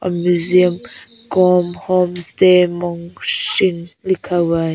Museum com home stay मार्शिंग लिखा हुआ है।